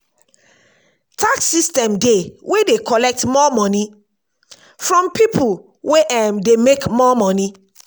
tax system dey wey dey collect more money from pipo wey um dey make more money